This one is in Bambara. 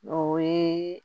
O ye